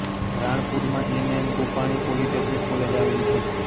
રાણપુરમાં N M Gopani polytechnic college આવેલી છે